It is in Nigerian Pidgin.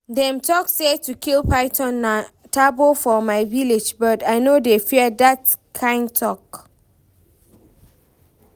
Dem talk say to kill python na taboo for my village but I no dey fear dat kyn talk